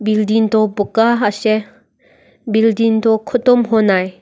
building toh buka ase building toh khotom honai.